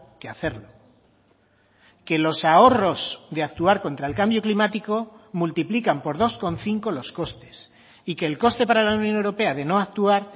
que hacerlo que los ahorros de actuar contra el cambio climático multiplican por dos coma cinco los costes y que el coste para la unión europea de no actuar